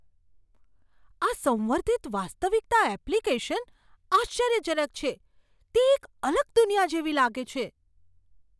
આ સંવર્ધિત વાસ્તવિકતા એપ્લિકેશન આશ્ચર્યજનક છે. તે એક અલગ દુનિયા જેવી લાગે છે.